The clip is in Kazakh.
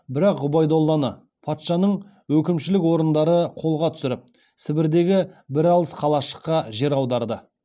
бірақ ғұбайдулланы патшаның өкімшілік орындары қолға түсіріп сібірдегі бір алыс қалашыққа жер аударады